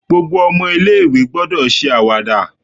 Gbogbo omo ilé ìwé gbọ́dọ̀ ṣe àwàdà